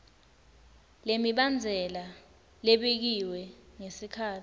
lemibandzela lebekiwe ngesikhatsi